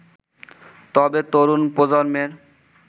তবে, তরুণ প্রজন্মের